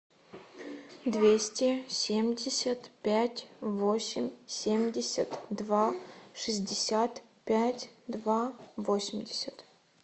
двести семьдесят пять восемь семьдесят два шестьдесят пять два восемьдесят